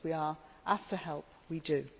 If we are asked to help we